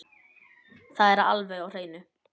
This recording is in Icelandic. Það er alveg á hreinu